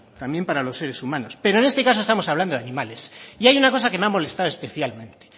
también para los seres humanos pero en este caso estamos hablando de animales y hay una cosa que me ha molestado especialmente